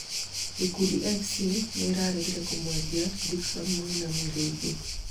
Gakundi FC nĩraregire kumwendia Dickson Muinami rĩngĩ